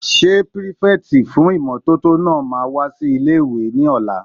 Ṣé pírífẹ̀tì fún ìmótótó náà wá sí ilé-ìwé ní ọ̀la?